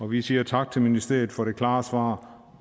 vi siger tak til ministeriet for det klare svar